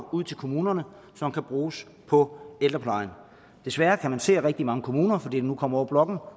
ud til kommunerne som kan bruges på ældreplejen desværre kan man se at rigtig mange kommuner fordi den nu kommer over